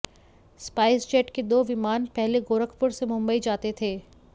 spice jet के दो विमान पहले गोरखपुर से मुंबई जाते थे